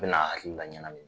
Bɛ na hakili laɲagami.